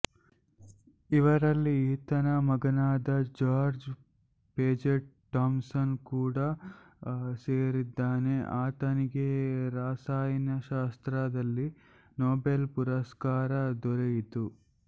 ಇವರಲ್ಲಿ ಈತನ ಮಗನಾದ ಜಾರ್ಜ್ ಪೇಜೆಟ್ ಥಾಮ್ಸನ್ ಕೂಡಾ ಸೇರಿದ್ದಾನೆ ಆತನಿಗೆ ರಸಾಯನಶಾಸ್ತ್ರದಲ್ಲಿ ನೊಬೆಲ್ ಪುರಸ್ಕಾರ ದೊರೆಯಿತು